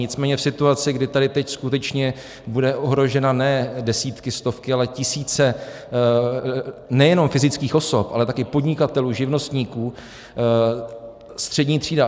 Nicméně v situaci, kdy tady teď skutečně budou ohroženy ne desítky, stovky, ale tisíce nejenom fyzických osob, ale taky podnikatelů, živnostníků, střední třída.